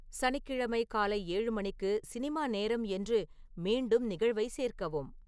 சனிக்கிழமை காலை ஏழு மணிக்கு சினிமா நேரம் என்று மீண்டும் நிகழ்வை சேர்க்கவும்